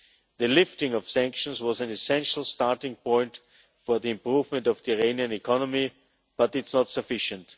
The lifting of sanctions was an essential starting point for the improvement of the Iranian economy, but it is not sufficient